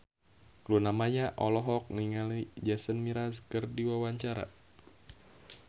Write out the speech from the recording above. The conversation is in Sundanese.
Luna Maya olohok ningali Jason Mraz keur diwawancara